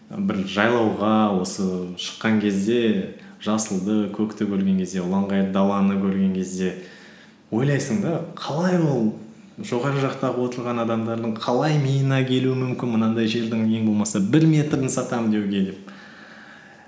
бір жайлауға осы шыққан кезде жасылды көкті көрген кезде ұланғайыр даланы көрген кезде ойлайсың да қалай ол жоғары жақтағы отырған адамдардың қалай миына келуі мүмкін мынандай жердің ең болмаса бір метрін сатамын деуге деп